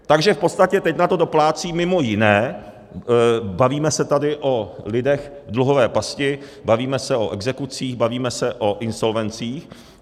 Takže v podstatě teď na to doplácí mimo jiné - bavíme se tady o lidech v dluhové pasti, bavíme se o exekucích, bavíme se o insolvencích.